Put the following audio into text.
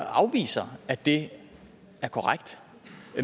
afviser at det er korrekt